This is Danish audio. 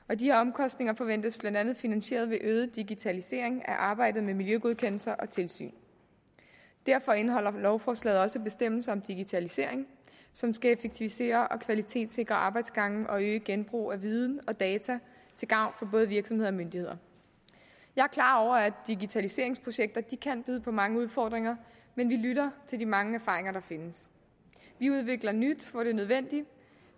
og de omkostninger forventes blandt andet finansieret ved en øget digitalisering af arbejdet med miljøgodkendelser og tilsyn derfor indeholder lovforslaget også bestemmelser om digitalisering som skal effektivisere og kvalitetssikre arbejdsgange og øge genbrug af viden og data til gavn for både virksomheder og myndigheder jeg er klar over at digitaliseringsprojekter kan byde på mange udfordringer men vi lytter til de mange erfaringer der findes vi udvikler nyt hvor det er nødvendigt